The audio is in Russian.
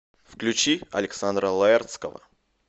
включи александра лаэртского